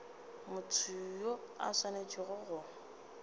motho yo a swanetšego go